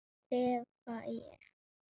klifa ég.